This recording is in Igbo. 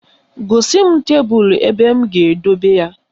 Gosi m tebelu ebe m ga-edobe ya